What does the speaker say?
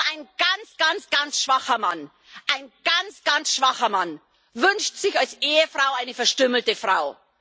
Nur ein ganz, ganz, ganz schwacher Mann ein ganz, ganz schwacher Mann wünscht sich als Ehefrau eine verstümmelte Frau.